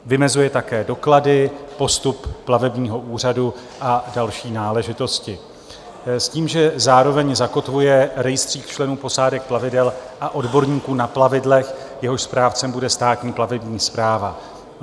Vymezuje také doklady, postup plavebního úřadu a další náležitosti s tím, že zároveň zakotvuje rejstřík členů posádek plavidel a odborníků na plavidlech, jehož správcem bude Státní plavební správa.